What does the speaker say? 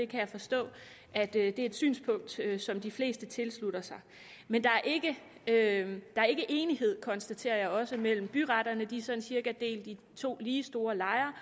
kan forstå at det er et synspunkt som de fleste tilslutter sig men der er ikke enighed konstaterer jeg også mellem byretterne de er sådan cirka delt i to lige store lejre